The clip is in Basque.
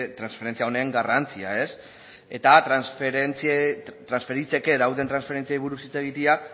transferentzia honen garrantzia eta transferitzeke daude transferentziei buruz hitz egitea